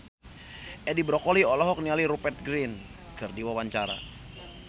Edi Brokoli olohok ningali Rupert Grin keur diwawancara